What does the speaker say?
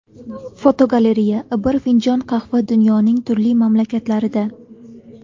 Fotogalereya: Bir finjon qahva dunyoning turli mamlakatlarida.